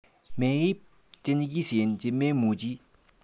Meib chenyikisen chimemuchi.